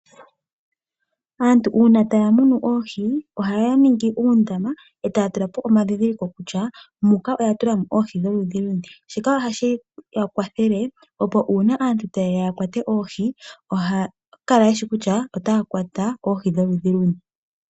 Aantu uuna taya munu oohi ohaya ningi uundama e taya tula po omandhindhiliko kutya muka oya tula mo oohi dholudhi luni. Shika ohashi ya kwathele opo uuna aantu taye ya ya kwate oohi ohaya kala ye shi nale kutya otaya kwata oohi dholudhi luni.